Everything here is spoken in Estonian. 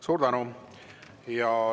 Suur tänu!